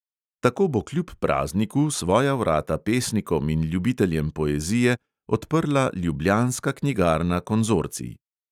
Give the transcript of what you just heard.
Tako bo kljub prazniku svoja vrata pesnikom in ljubiteljem poezije odprla ljubljanska knjigarna konzorcij.